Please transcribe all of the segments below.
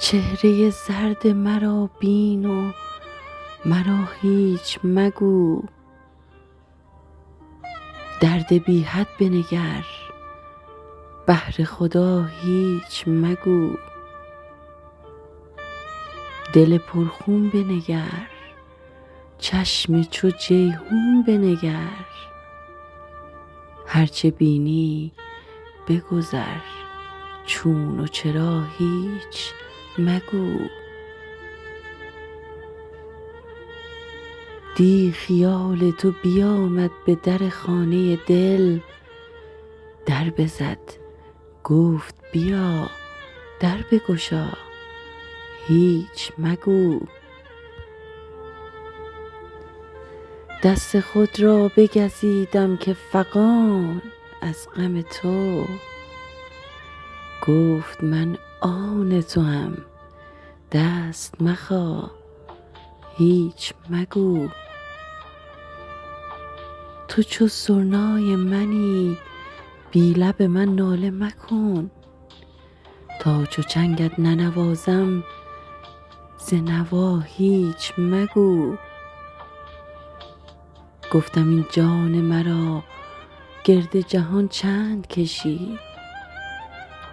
چهره زرد مرا بین و مرا هیچ مگو درد بی حد بنگر بهر خدا هیچ مگو دل پرخون بنگر چشم چو جیحون بنگر هر چه بینی بگذر چون و چرا هیچ مگو دیٖ خیال تو بیامد به در خانه دل در بزد گفت بیا در بگشا هیچ مگو دست خود را بگزیدم که فغان از غم تو گفت من آن توام دست مخا هیچ مگو تو چو سرنای منی بی لب من ناله مکن تا چو چنگت ننوازم ز نوا هیچ مگو گفتم این جان مرا گرد جهان چند کشی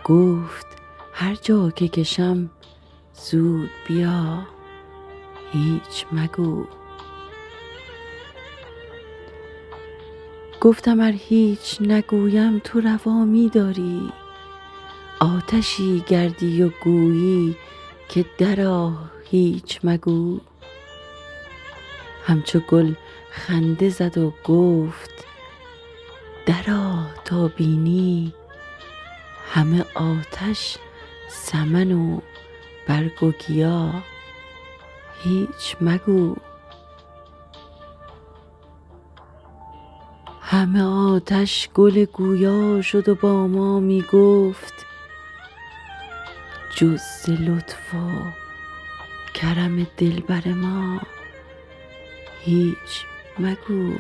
گفت هر جا که کشم زود بیا هیچ مگو گفتم ار هیچ نگویم تو روا می داری آتشی گردی و گویی که درآ هیچ مگو همچو گل خنده زد و گفت درآ تا بینی همه آتش سمن و برگ و گیا هیچ مگو همه آتش گل گویا شد و با ما می گفت جز ز لطف و کرم دلبر ما هیچ مگو